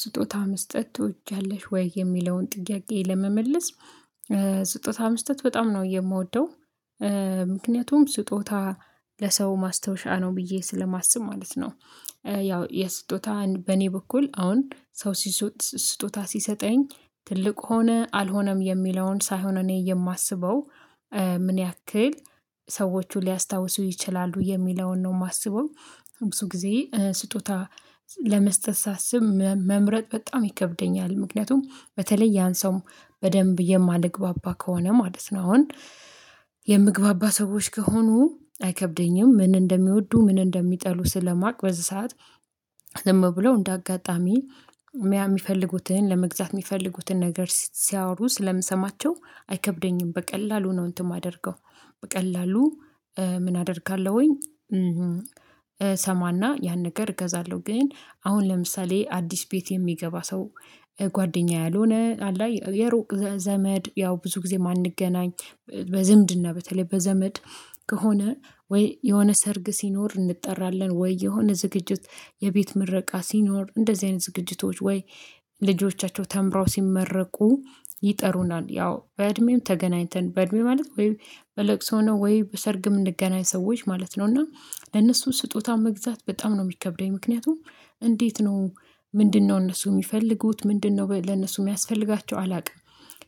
ስጦታ መስጠት ትወጃለሽ ወይ የሚለውን ጥያቄ ለመመለስ? ስጦታ መስጠት በጣም ነው የምወደው። ምክንያቱም ስጦታ ለሰው ማስታወሻ ነው ብዬ ስለማስብ ማለት ነው። ያው የስጦታን በእኔ በኩል አሁን ሰው ስጦታ ሲሰጠኝ ትልቅ ሆነ አልሆነም የሚለውን ሳይሆን እኔ የማስበው ምን ያክል ሰዎቹ ሊያስታውሱ ይችላሉ የሚለውን ነው የማስበው። ብዙ ጊዜ ስጦታ ለመስጠት ሳስብ መምረጥ በጣም ይከብደኛል ምክንያቱም በተለይ ያን ሰው በደንብ የማልግባባ ከሆነ ማለት ነው አሁን የምግባባ ሰዎች ከሆኑ አይከብደኝም። ምን እንደሚወዱ ምን እንደሚጠሉ ስለማቅ በዚህ ሰዓት ዝም ብለው እንደ አጋጣሚ የሚፈልጉትን ለመግዛት የሚፈልጉትን ነገር ሲያወሩ ስለምሰማቸው አይከብደኝም በቀላሉ ነው እንትን የማደርገው በቀላሉ ምን አደርጋለሁኝ። እሰማና ያን ነገር እገዛለሁ ግን አሁን ለምሳሌ አዲስ ቤት የሚገባ ሰው ጓደኛዬ ያልሆነ የሩቅ ዘመድ ያው ብዙ ጊዜ የማንገኝ ምን ያክል ሰዎቹ ሊያስታውሱ ይችላሉ የሚለውን ነው የማስበው ብዙ ጊዜ ስጦታ ለመስጠት ሳስብ መምረጥ በጣም ይከብደኛል። ምክንያቱም በተለይ ያን ሰው በደንብ የማልግባባ ከሆነ ማለት ነው አሁን ልጆቻቸው ተምራው ሲመረቁ ይጠሩናል ያው በእድሜም ተገናኝተን በእድሜ ማለት ወይ በለቅሶ ነው ወይ በሰርግ የምንገናኝ ሰዎች ማለት ነው እና ለነሱ ስጦታ መግዛት በጣም ነው የሚከብደኝ ምክንያቱም እንዴት ነው ምንድነው እነሱ የሚፈልጉት ምንድነው ለነሱ የሚያስፈልጋቸው አላውቅም?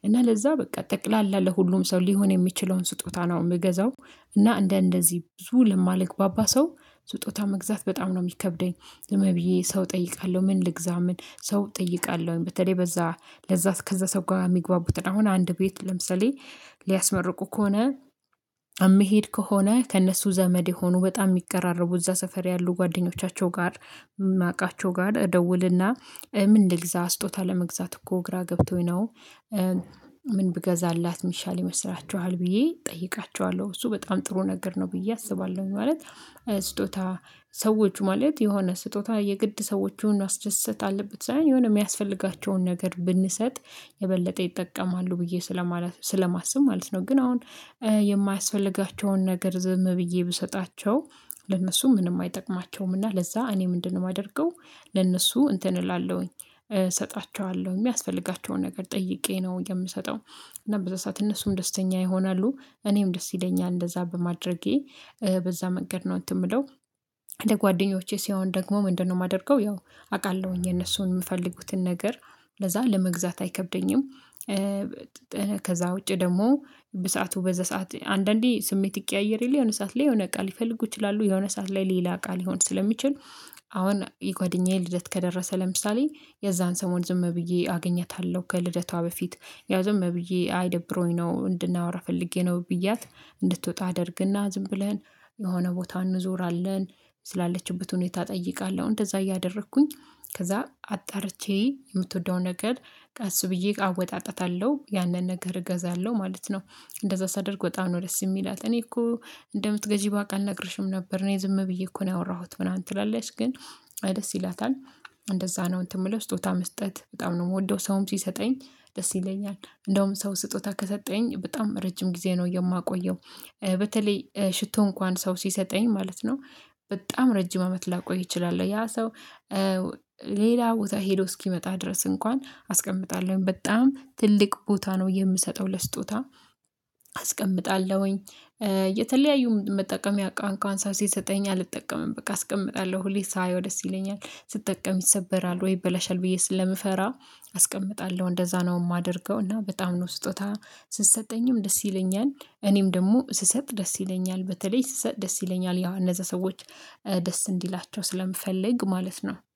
እና ለዛ በቃ ጠቅላላ ለሁሉም ሰው ሊሆን የሚችለውን ስጦታ ነው የምገዛው። እና እንደ እንደዚህ ብዙ ለማልግባባ ሰው ስጦታ መግዛት በጣም ነው የሚከብደኝ። ዝምብዬ ሰው እጠይቃለሁ ምን ልግዛ ምን ሰው እጠይቃለሁኝ? በተለይ በዛ ለዛ ከዛ ሰው ጋር የሚግባቡትን አሁን አንድ ቤት ለምሳሌ ሊያስመርቁ ከሆነ የሚሄድ ከሆነ ከእነሱ ዘመድ የሆኑ በጣም የሚቀራረቡ እዛ ሰፈር ያሉ ጓደኞቻቸው ጋር የማውቃቸው ጋር እደውልና ምን ልግዛ ስጦታ ለመግዛት እኮ ግራ ገብቶኝ ነው። ምን ብገዛላት የሚሻል ይመስላችኋል ብዬ እጠይቃቸዋለሁ? እሱ በጣም ጥሩ ነገር ነው ብዬ አስባለሁ ማለት። ስጦታ ሰዎች ማለት የሆነ ስጦታ የግድ ሰዎችን ማስደሰት አለበት ሳይሆን የሚያስፈልጋቸውን ነገር ብንሰጥ የበለጠ ይጠቀማሉ ብዬ ስለማስብ ማለት ነው። ግን አሁን የማያስፈልጋቸውን ነገር ዝም ብዬ ብሰጣቸው ለነሱ ምንም አይጠቅማቸውምና ለዛ እኔ ምንድነው የማደርገው? ለነሱ እንትን እላለሁኝ እሰጣቸዋለሁኝ የሚያስፈልጋቸውን ነገር ጠይቄ ነው የምሰጠው። እና በዛ ሰዓት እነሱም ደስተኛ ይሆናሉ እኔም ደስ ይለኛል እንደዛ በማድረጌ በዛ መንገድ ነው እንትን የምለው ለጓደኞቼ ሲሆን ደግሞ ምንድነው የማደርገው ያው አውቃለሁኝ የነሱን የምፈልጉትን ነገር ለዛ ለመግዛት አይከብደኝም። ከዛ ውጪ ደግሞ በሰአቱ በዘሰአት አንዳንዴ ስሜት ይቀያየር የለ የሆነ ሰዓት ላይ የሆነ እቃ ሊፈልጉ ይችላሉ የሆነ ሰዓት ላይ ሌላ እቃ ሊሆን ስለሚችል። አሁን የጓደኛዬ ልደት ከደረሰ ለምሳሌ የዛን ሰሞን ዝም ብዬ አገኘታለሁ ከልደቷ በፊት ያው ዝም ብዬ አይደብሮኝ ነው እንድናወራ ፈልጌ ነው ብያት እንድትወጣ አደርግና ዝም ብለን የሆነ ቦታ እንዞራለን ስላለችበት ሁኔታ እጠይቃለሁ እንደዛ እያደረኩኝ ከዛ አጣርቼ የምትወደው ነገር ቀስ ብዬ አወጣጣታለሁ ያንን ነገር እገዛለሁ ማለት ነው። እንደዛ ሳደርግ በጣም ነው ደስ የሚላት እኔ እኮ እንደምትገዢ ባውቅ አልነግርሽም ነበር እኔ ዝም ብዬ እኮ ነው ያወራሁት ምናምን ትላለች ግን ደስ ይላታል። እንደዛ ነው እንትን የምለው ስጦታ መስጠት በጣም ነው የምወደው። ሰውም ሲሰጠኝ ደስ ይለኛል እንደውም ሰው ስጦታ ከሰጠኝ በጣም ረጅም ጊዜ ነው የማቆየው። በተለይ ሽቶ እንኳን ሰው ሲሰጠኝ ማለት ነው በጣም ረጅም አመት ላቆይ እችላለሁ ያ ሰው። ሌላ ቦታ ሄዶ እስኪመጣ ድረስ እንኳን አስቀምጣለሁኝ በጣም ትልቅ ቦታ ነው የምሰጠው ለስጦታ አስቀምጣለሁኝ። የተለያዩ መጠቀምያ እንኳን ሰው ሲሰጠኝ አልጠቀምም በቃ አስቀምጣለሁ ሁሌ ሳየው ደስ ይለኛል ስትጠቀም ይሰበራል ወይ ይበላሻል ብዬ ስለምፈራ አስቀምጣለሁ እንደዛ ነው የማደርገው። እና በጣም ነው ስጦታ ሲሰጠኝም ደስ ይለኛል እኔም ደግሞ ስሰጥ ደስ ይለኛል በተለይ ስሰጥ ደስ ይለኛል ያው እነዛ ሰዎች ደስ እንዲላቸው ስለምፈልግ ማለት ነው